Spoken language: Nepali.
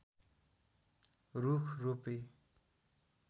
रूख रोपे